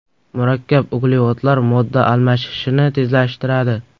Murakkab uglevodlar modda almashishini tezlashtiradi.